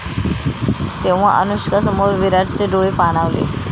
...तेव्हा अनुष्कासमोर विराटचे डोळे पाणावले